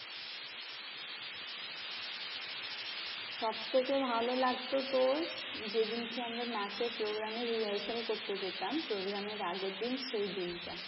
সবথেকে ভালো লাগতো তোর, যেদিনকে আমরা নাচের program এর rehearsal করতে যেতাম program এর আগের দিন সেই দিনটা।